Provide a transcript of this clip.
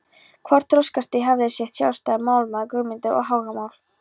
Hvert þroskastig hafði sitt sjálfstæða málfar, hugmyndaheim og áhugamál.